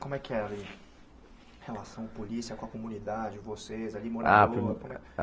Como é que é ali a relação polícia com a comunidade, vocês ali, morador? Ah